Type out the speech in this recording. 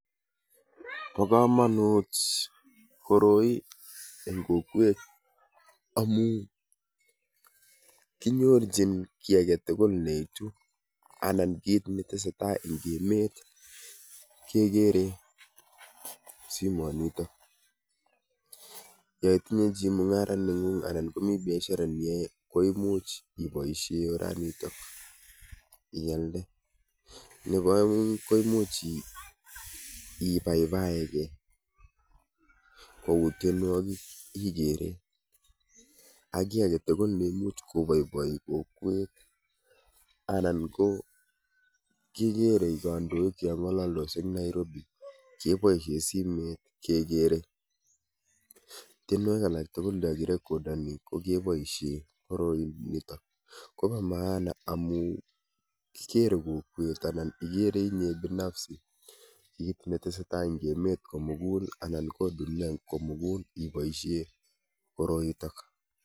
Bo komonut koroi ing' kokwet amu kinyorchin ki agetugul neitu ana kiit netesetai ing' emet kegere simotniitok. Ya itinye chi mung'ara neng'ung' anan komi biashara neiyae koimuch iboisie ialde. Nebo aeng' koimuch iibaebaegei kouu tienwogik igere ak ki agetugul neimuch koiboiboi kokwet anan ko kigere kandoik cheng'alaldos ing' Nairobi keboisie simet kegere. Tienwogik alak tugul cha kirekodani kokeboisie koroi nitook koba maana amu kigere kokwet anan igere inye binafsi kiit netesetai ing' emet komugul anan ko duniait komugul iboisie koroitok